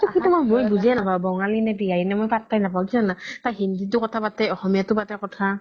কেতিয়াবা মই বুজিয়ে নাপাও বঙালী নে বিহাৰি নে মই পাত্তা য়ে নাপাও কিও জানা তাই হিন্দিতও কথা পাতে অসমীয়াও পাতে কথা